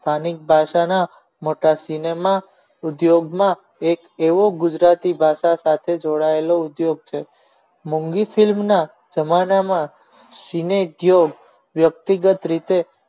સ્થાનિક ભાષાના મોટા cinema ઉદ્યોગમાં એક એવો ગુજરાતી ભાષા સાથે જોડાયેલો ઉદ્યોગ છે મોંઘી film ના જમાના મા વ્યક્તિગત રીતે